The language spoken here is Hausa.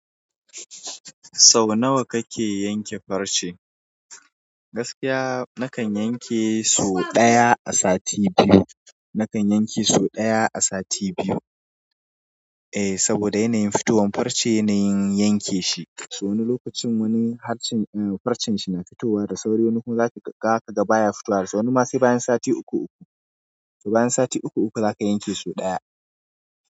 Sau nawa kake yanke farce? Gaskiya nakan yanke sau ɗaya a sati biyu, nakan yanke sau ɗaya a sati biyu. Eh saboda yanayin fitowan farce yanayin yanke shi. So wani lokacin wani harshen farcen shi mai fitowa da sauri wani kuma zaki ga gaka ga baya fitowa so wani. Ma sai bayan sati uku uku, bayan sati uku uku zaka yanke so ɗaya.